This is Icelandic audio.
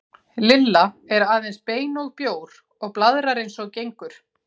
Lilla er aðeins bein og bjór og blaðrar eins og gengur.